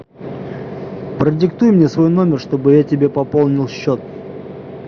продиктуй мне свой номер чтобы я тебе пополнил счет